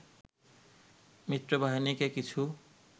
মিত্রবাহিনীকে কিছু